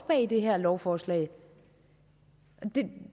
bag det her lovforslag og